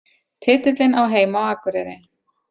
Titillinn á heima á Akureyri